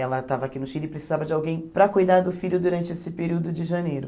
Ela estava aqui no Chile e precisava de alguém para cuidar do filho durante esse período de janeiro.